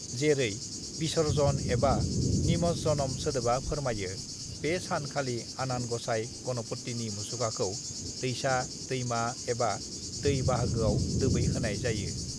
"जेरै 'विसर्जन' एबा 'निमज्जनम' सोदोबा फोरमायो, बे सान खालि आनान गसाय गणपतिनि मुसुखाखौ दैसा, दैमा एबा दै बाहागोआव दोबै होनाय जायो।"